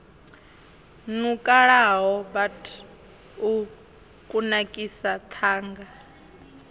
nukalaho bud u kunakisa ṱhanga